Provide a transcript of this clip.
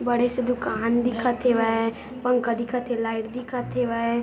बड़े से दुकान दिखत हेवय पंखा दिखत हे लाइट दिखत हेवय।